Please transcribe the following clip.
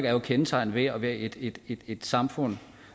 er jo kendetegnet ved at være et et samfund